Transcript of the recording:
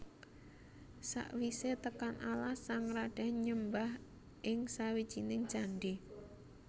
Sakwisé tekan alas sang radén nyembah ing sawijining candhi